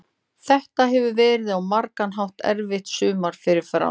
Þetta hefur verið á margan hátt erfitt sumar fyrir Fram.